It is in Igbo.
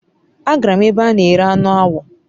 agara m ebe ana ere anu awo